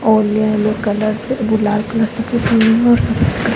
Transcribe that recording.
और ये yellow colour से लाल कलर से पोता हुआ है और सफ़ेद --